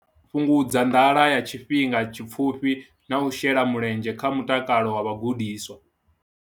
Fhungudza nḓala ya tshifhinga tshipfufhi na u shela mulenzhe kha mutakalo wa vhagudiswa.